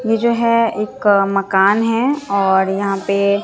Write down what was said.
यह जो है एक मकान है और यहां पे--